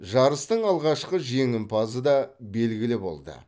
жарыстың алғашқы жеңімпазы да белгілі болды